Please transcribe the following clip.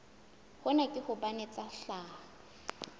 hona ke hobane tsa tlhaho